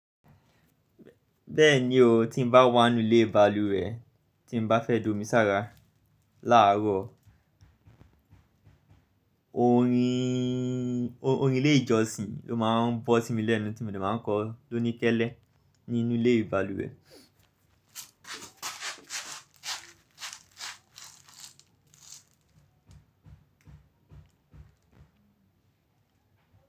Bẹ́ẹ̀ni o, tí n bá wà nú ilé ìbalùwẹ̀, tí n bá fẹ́ domi sára láàrọ̀, orin, orin ilé ìjọsìn ló máa ń bọ́ sí mi lẹ́nu tí mo ní máa ń kọ lóníkẹ́lẹ́ nínú ilé ìbalùwẹ̀.